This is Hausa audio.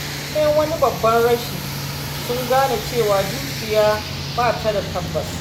Bayan wani babban rashi, sun gane cewa dukiya ba ta da tabbas.